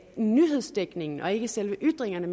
nyhedsdækningen og ikke selve ytringerne